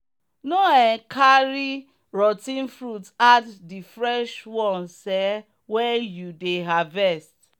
no um carry rot ten fruit add the fresh ones um when you dey harvest.